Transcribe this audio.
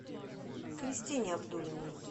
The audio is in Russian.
кристине абдулиной